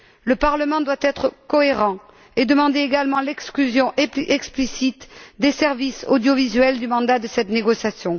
Le Parlement doit être cohérent et demander également l'exclusion explicite des services audiovisuels du mandat de cette négociation.